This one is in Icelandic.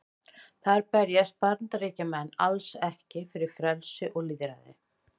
Þar berjast Bandaríkjamenn alls ekki fyrir frelsi og lýðræði.